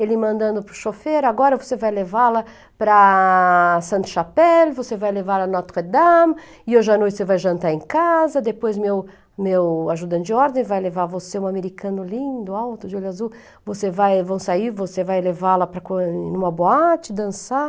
ele mandando para o chofer, agora você vai levá-la para Sainte-Chapelle, você vai levá-la à Notre-Dame, e hoje à noite você vai jantar em casa, depois meu meu ajudante de ordem vai levar você, um americano lindo, alto, de olho azul, vão sair, você vai levá-la em uma boate, dançar.